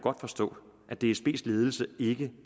forstå at dsbs ledelse ikke